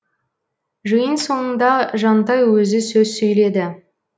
жиын соңында жантай өзі сөз сөйледі